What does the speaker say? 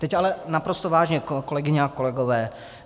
Teď ale naprosto vážně, kolegyně a kolegové.